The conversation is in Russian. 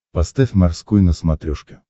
поставь морской на смотрешке